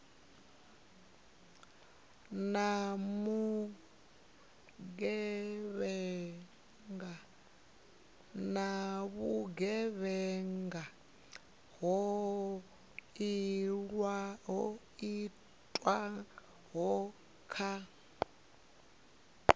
na vhugevhenga ho itwaho kha